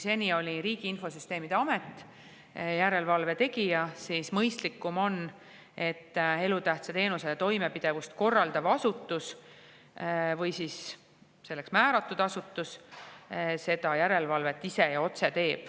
Seni oli Riigi Infosüsteemi Amet järelevalve tegija, aga mõistlikum on, et elutähtsa teenuse toimepidevust korraldav või selleks määratud asutus teeb järelevalvet ise ja otse.